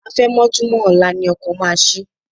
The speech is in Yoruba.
Àfẹ̀mọ́júmọ́ ọ̀la ni ọkọ̀ máa ṣí.